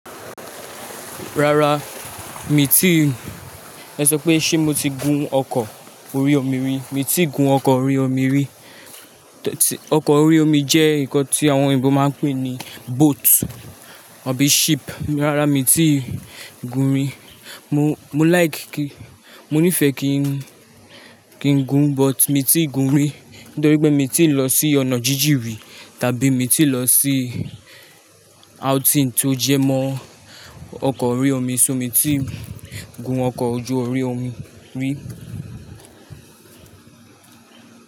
Rárá mi tí, ẹ sọ pé ṣé mo ti gún ọkọ̀ orí omi rí, mi tí gún ọkọ̀ orí omi rí. Ọkọ̀ orí omi jẹ́ nǹkan tí àwọn òyìnbó máa ń pè ní boat àbí ship. Rárá mi tí gún rí. Mo like kí, mo nífẹ̀ẹ́ kí, kí n gún but mi tí gún rí nítorí pé mi tí ń lọ sí ọ̀nà jíjì rí tàbí mi tí lọ sí outing tó jẹ́ mọ ọkọ̀ orí omi, so mi tí gún ọkọ̀ ojú orí omi rí.